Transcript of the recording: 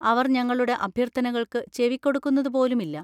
അവർ ഞങ്ങളുടെ അഭ്യർത്ഥനകൾക്ക് ചെവികൊടുക്കുന്നതുപോലും ഇല്ല.